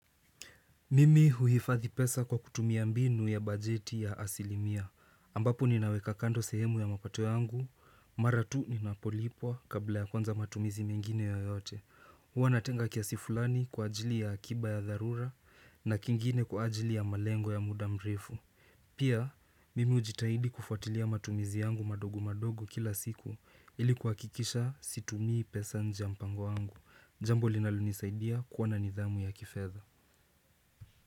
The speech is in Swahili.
Mimi huhifadhi pesa kwa kutumia mbinu ya bajeti ya asilimia ambapo ninaweka kando sehemu ya mapato yangu Mara tu ninapolipwa kabla ya kuanza matumizi mengine yeyote huwa natenga kiasi fulani kwa ajili ya akiba ya dharura na kingine kwa ajili ya malengo ya muda mrefu Pia, mimi hujitahidi kufuatilia matumizi yangu madogo madogo kila siku Ili kuhakikisha situmii pesa nje ya mpango yangu jambo linalonisaidia kuwa na nidhamu ya kifedha.